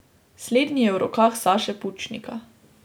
Slednji je v rokah Saše Pučnika.